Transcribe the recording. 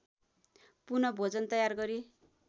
पुनः भोजन तयार गरी